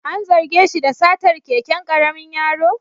An zarge shi da satar keken karamin yaro?